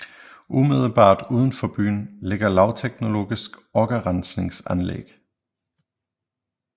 Umiddelbart uden for byen ligger lavteknologisk okkerrensningsanlæg